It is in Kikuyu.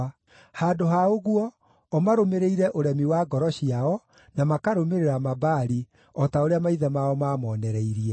Handũ ha ũguo, o maarũmĩrĩire ũremi wa ngoro ciao, na makarũmĩrĩra Mabaali, o ta ũrĩa maithe mao maamonereirie.”